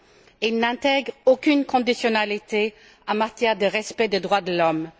Il n'intègre aucune conditionnalité en matière de respect des droits de l'homme.